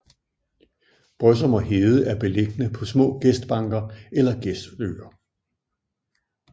Brøsum og Hede er beilligende på små gestbanker eller gestøer